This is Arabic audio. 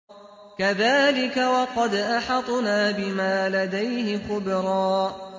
كَذَٰلِكَ وَقَدْ أَحَطْنَا بِمَا لَدَيْهِ خُبْرًا